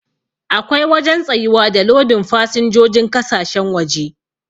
Akwai wajen tsayuwa da lodin fasinjojin kasashen waje.